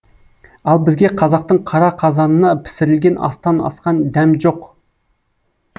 ал бізге қазақтың қара қазанына пісірілген астан асқан дәм жоқ